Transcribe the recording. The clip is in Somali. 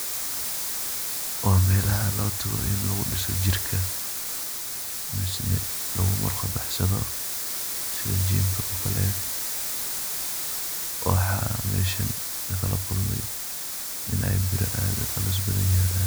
Waa melaha lotago in lagudiso jirka mise lagumurqa baxsado sida gymka okale waxan meshan lagalakulmay iney bira aad uculus yalan.